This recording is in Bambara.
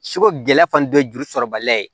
Seko gɛlɛya fana dɔ juru sɔrɔbaliya ye